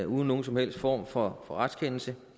uden nogen som helst form for retskendelse